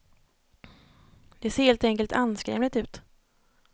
Det ser helt enkelt anskrämligt ut.